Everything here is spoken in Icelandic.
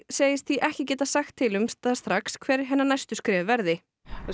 segist því ekki geta sagt til um það strax hver hennar næstu skref verði